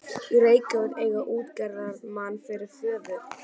í Reykjavík og eiga útgerðarmann fyrir föður.